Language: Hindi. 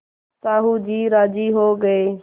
साहु जी राजी हो गये